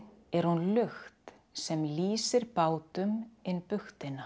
er hún lukt sem lýsir bátum inn